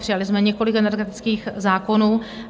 Přijali jsme několik energetických zákonů.